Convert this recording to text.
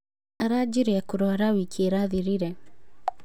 Arajirie kũrwara wĩkĩ ĩrathirire